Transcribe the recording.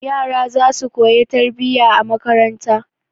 Yara za su koya tarbiyya a makaranta.